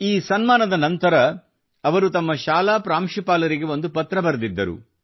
ಈ ಸನ್ಮಾನದ ನಂತರ ಅವರು ತಮ್ಮ ಶಾಲಾ ಪ್ರಾಂಶುಪಾಲರಿಗೆ ಒಂದು ಪತ್ರ ಬರೆದಿದ್ದರು